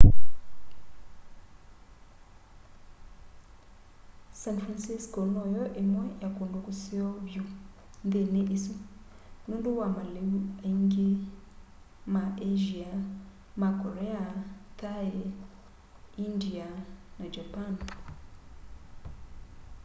san francisco no yo imwe ya kundu kuseo vyu nthini isu nundu wa maliu angi ma asia ma korea thai india na japan